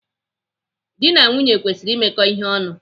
Dị na nwunye kwesịrị imekọta ihe ọnụ.